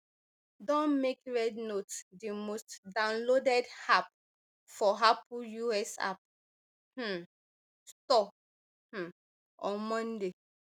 don make rednote di most downloaded app for apple us app um store um on monday